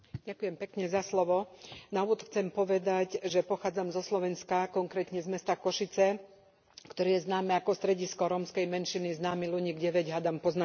Na úvod chcem povedať, že pochádzam zo Slovenska, konkrétne z mesta Košice, ktoré je známe ako stredisko rómskej menšiny, známy Luník 9 hádam pozná každý.